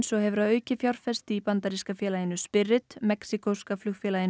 og hefur að auki fjárfest í bandaríska félaginu mexíkóska flugfélaginu